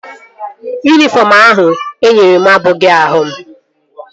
Yunifọm ahụ enyere m abụghị ahụ m